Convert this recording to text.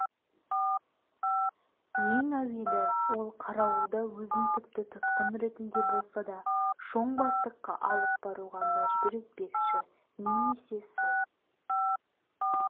ең әуелі ол қарауылды өзін тіпті тұтқын ретінде болса да шоң бастыққа алып баруға мәжбүр етпекші немесе сол